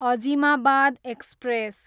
Azimabad express